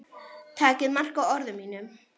Takið mark á orðum mínum.